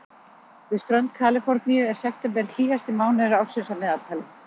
Við strönd Kaliforníu er september hlýjasti mánuður ársins að meðaltali.